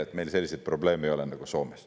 Soome ei ole selleks hea näide.